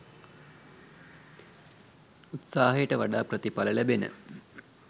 උත්සාහයට වඩා ප්‍රතිඵල ලැබෙන